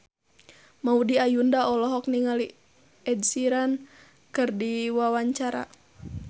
Maudy Ayunda olohok ningali Ed Sheeran keur diwawancara